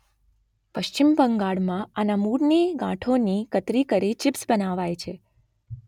પશ્ચિમ બંગાળમાં આના મૂળની ગાંઠોની કતરી કરી ચીપ્સ બનાવાય છે